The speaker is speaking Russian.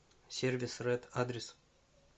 сервис ред адрес